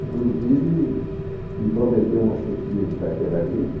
Inclusive, me prometeu uma chefia de carteira agrícola.